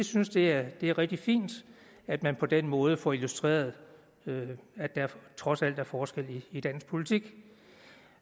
synes det er rigtig fint at man på den måde får illustreret at der trods alt er forskel i dansk politik